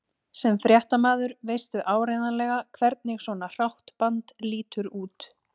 Sem fréttamaður veistu áreiðanlega hvernig svona hrátt band lítur út